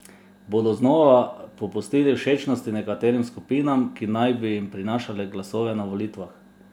Bodo znova popustili všečnosti nekaterim skupinam, ki naj bi jim prinašale glasove na volitvah?